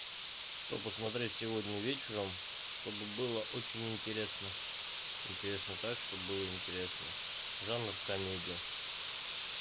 что посмотреть сегодня вечером чтобы было очень интересно интересно так чтоб было интересно жанр комедия